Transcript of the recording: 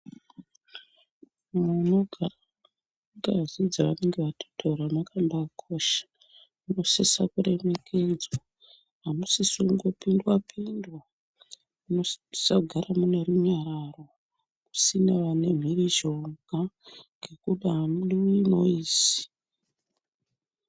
Munogare ngazi dzaanenge atitora munonga mwakosha munosisa kuremekedzwa . Amusisi kundopindwa pindwa munosisa kugara munerunyararo musina vanemhirizhonga ngekuti hamudiwi noizi.